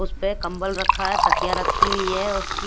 उसपे कंबल रखा है तकिया रखी हुई हैउसकी--